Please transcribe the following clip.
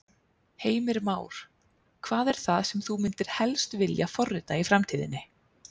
Heimir Már: Hvað er það sem þú myndir helst vilja forrita í framtíðinni?